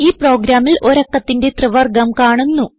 ഈ പ്രോഗ്രാമിൽ ഒരു അക്കത്തിന്റെ ത്രിവർഗ്ഗം കാണുന്നു